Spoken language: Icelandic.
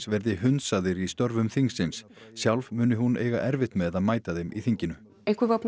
verði hundsaðir í störfum þingsins sjálf muni hún eiga erfitt með að mæta þeim í þinginu einhver var